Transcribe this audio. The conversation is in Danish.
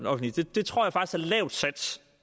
det tror